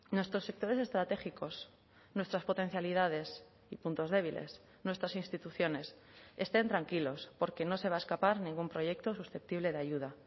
nuestros sectores estratégicos nuestras potencialidades y puntos débiles nuestras instituciones estén tranquilos porque no se va a escapar ningún proyecto susceptible de ayuda